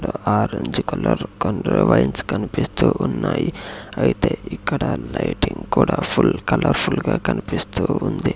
Orange colour కనిపిస్తూ ఉన్నాయి అయితే ఇక్కడ లైటింగ్ కూడా ఫుల్ కలర్ ఫుల్ గా కన్పిస్తూ ఉంది.